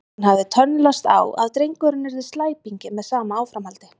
Hann hafði tönnlast á að drengurinn yrði slæpingi með sama áframhaldi.